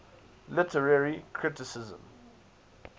literary criticism